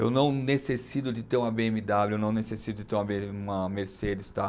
Eu não necessito de ter uma bê eme dáblio, eu não necessito de ter uma me, uma mercedes, tá?